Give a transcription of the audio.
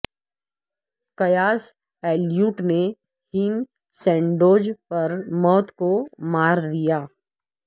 chaos Elliot نے ham sandwich پر موت کو مار دیا